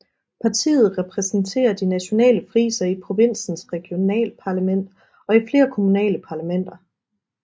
Partiet repræsenterer de nationale frisere i provinsens regionalparlament og i flere kommunale parlamenter